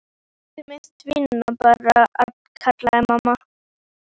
Komdu með tvinnann, barn, kallaði mamma.